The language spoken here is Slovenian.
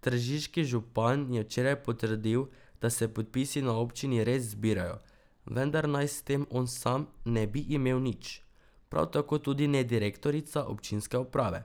Tržiški župan je včeraj potrdil, da se podpisi na občini res zbirajo, vendar naj s tem on sam ne bi imel nič, prav tako tudi ne direktorica občinske uprave.